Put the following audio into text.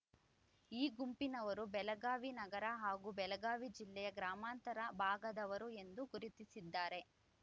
ಈ ಗುಂಪಿನವರು ಬೆಳಗಾವಿ ನಗರ ಹಾಗೂ ಬೆಳಗಾವಿ ಜಿಲ್ಲೆಯ ಗ್ರಾಮಾಂತರ ಭಾಗದವರು ಎಂದು ಗುರುತಿಸಿದ್ದಾರೆ